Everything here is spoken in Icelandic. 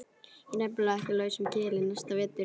Ég er nefnilega ekki á lausum kili næsta vetur.